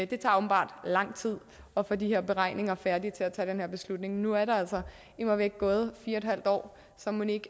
det tager åbenbart lang tid at få de her beregninger færdige til at tage den her beslutning nu er der altså immervæk gået fire en halv år så mon ikke